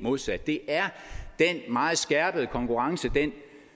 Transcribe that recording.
modsat det er den meget skærpede konkurrence